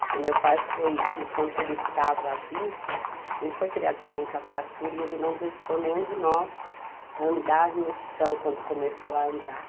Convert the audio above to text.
Porque meu pai foi, enquanto ele estava vivo, a gente foi criado com muita fartura e ele não deixou nenhum de nós andar no chão quando começamos a andar.